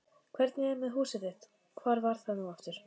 Hvernig er með húsið þitt- hvar var það nú aftur?